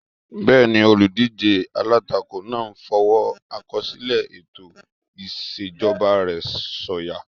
Bẹ́ẹ̀ni, olùdíjé alátakò náà n fọwọ́ àkọsílẹ̀ ètò ìṣèjọba rẹ̀ sọ̀yà